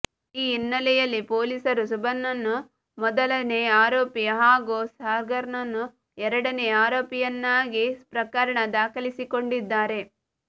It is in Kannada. ಈ ಹಿನ್ನೆಲೆಯಲ್ಲಿ ಪೊಲೀಸರು ಸುಭಾನ್ನನ್ನು ಮೊದಲನೇ ಆರೋಪಿ ಹಾಗೂ ಸಾಗರ್ನನ್ನು ಎರಡನೇ ಆರೋಪಿಯನ್ನಾಗಿ ಪ್ರಕರಣ ದಾಖಲಿಸಿಕೊಂಡಿದ್ದಾರೆ